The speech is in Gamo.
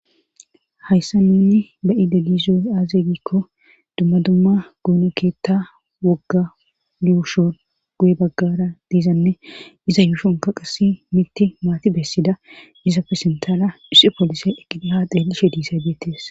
hayssa nuunni ba7ide giizoy aaze gikko dumma dumma goyino keetta wogga yuushon guye baggara diizanne iza yuushonka qass mitti maati bessida izapfe sintala issi poolisay eqqida haa xeellishe diisaydeettes